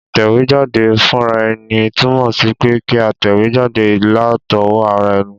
Ìtẹ̀wéjáde fúnraeni tùnmò sí pe kí a tẹ̀wé jáde látowó ara eni